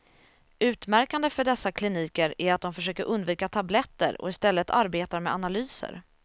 Utmärkande för dessa kliniker är att de försöker undvika tabletter och i stället arbetar med analyser.